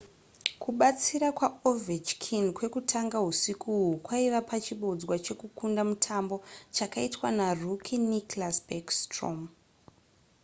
kubatsira kwaovechkin kwekutanga husiku uhu kwaive pachibodzwa chekukunda mutambo chakaitwa narookie nicklas backstrom